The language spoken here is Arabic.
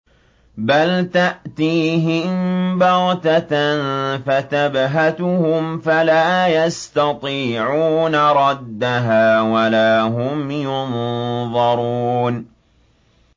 بَلْ تَأْتِيهِم بَغْتَةً فَتَبْهَتُهُمْ فَلَا يَسْتَطِيعُونَ رَدَّهَا وَلَا هُمْ يُنظَرُونَ